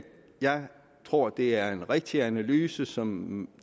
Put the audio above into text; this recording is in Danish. jeg tror det er en rigtig analyse som